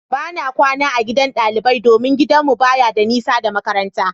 Bana kwana a gidan ɗalibai domin gidanmu baya da nisa da makarantar.